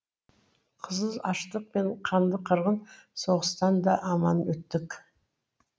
қызыл аштық пен қанды қырғын соғыстан да аман өттік